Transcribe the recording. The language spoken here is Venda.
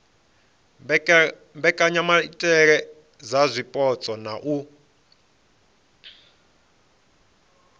mbekanyamaitele dza zwipotso na u